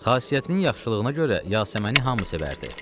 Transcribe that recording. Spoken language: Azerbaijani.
Xasiyyətinin yaxşılığına görə Yasəməni hamı sevərdi.